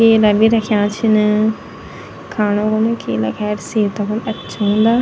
केला बि रख्या छिन खाणु कुन केला खेर सेहता खुण अच्छा हूंदा।